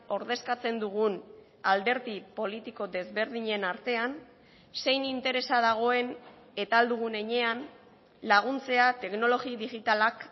ordezkatzen dugun alderdi politiko desberdinen artean zein interesa dagoen eta ahal dugun heinean laguntzea teknologi digitalak